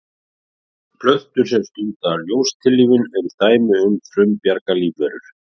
Slík aðferð þekkist einnig hjá jagúarnum.